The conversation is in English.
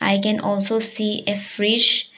I can also see a frish .